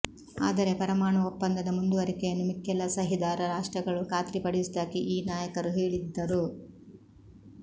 ಆದರೆ ಪರಮಾಣು ಒಪ್ಪಂದದ ಮುಂದುವರಿಕೆಯನ್ನು ಮಿಕ್ಕೆಲ್ಲ ಸಹಿದಾರ ರಾಷ್ಟ್ರಗಳು ಖಾತ್ರಿಪಡಿಸುವುದಾಗಿ ಈ ನಾಯಕರು ಹೇಳಿದ್ತರು